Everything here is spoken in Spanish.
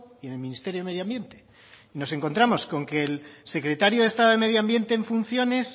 y en el ministerio de medio ambiente y nos encontramos con que el secretario de estado de medio ambiente en funciones